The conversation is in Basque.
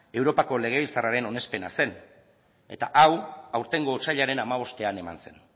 europako legebiltzarren onespena zen eta hau aurtengo otsailaren hamabostean eman zen